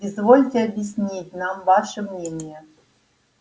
извольте объяснить нам ваше мнение